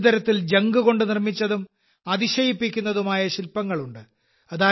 ഒരു തരത്തിൽ ജങ്ക് കൊണ്ട് നിർമ്മിച്ചതും അതിശയിപ്പിക്കുന്നതുമായ ശിൽപങ്ങളുണ്ട്